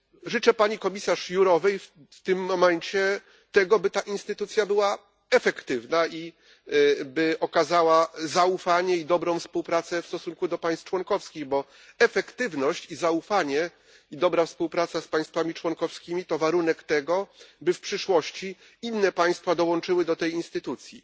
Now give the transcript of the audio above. Życzę pani komisarz Jourovej w tym momencie tego, by ta instytucja była efektywna i by okazała zaufanie i dobrą współpracę w stosunku do państw członkowskich, bo efektywność, zaufanie i dobra współpraca z państwami członkowskimi to warunek tego, by w przyszłości inne państwa dołączyły do tej instytucji.